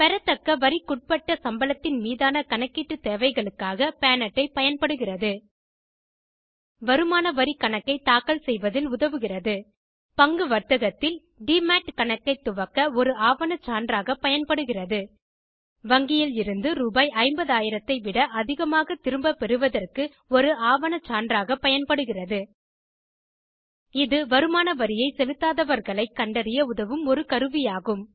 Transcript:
பெறத்தக்க வரிக்குட்டபட்ட சம்பளத்தின் மீதான கணக்கீட்டு தேவைகளுக்காக பான் அட்டை பயன்படுகிறது வருமான வரி கணக்கை தாக்கல் செய்வதில் உதவுகிறது பங்கு வர்த்தகத்தில் டிமாட் கணக்கை துவக்க ஒரு ஆவணச் சான்றாக பயன்படுகிறது வங்கியில் இருந்து ரூ50 000 ஐ விட அதிகமாக திரும்ப பெறுவதற்கு ஒரு ஆவணச்சான்றாக பயன்படுகிறது இது வரிமான வரியை செலுத்தாதவர்களை கண்டறிய உதவும் ஒரு கருவி ஆகும்